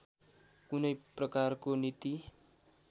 कुनै प्रकारको नीति